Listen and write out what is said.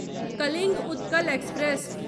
Kalinga Utkal express